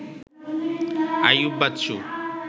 Ayub Bachchu